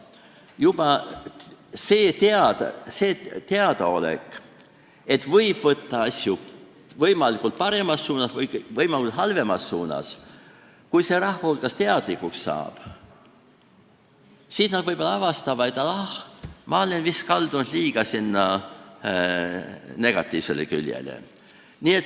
Kui juba teatakse, et asju võib võtta võimalikult positiivselt või võimalikult negatiivselt, siis võib rahvas avastada, et nad on vist kaldunud liiga negatiivsele küljele.